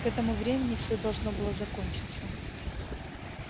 к этому времени все должно было закончиться